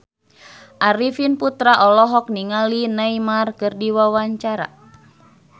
Arifin Putra olohok ningali Neymar keur diwawancara